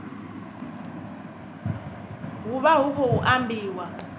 hu vha hu khou ambiwa